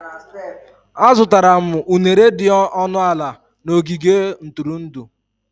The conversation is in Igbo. Azụtara m unere dị ọnụ ala na ogige ntụrụndụ.